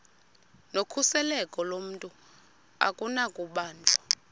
nokhuseleko lomntu akunakubanjwa